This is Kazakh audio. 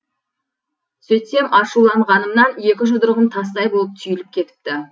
сөйтсем ашуланғанымнан екі жұдырығым тастай болып түйіліп кетіпті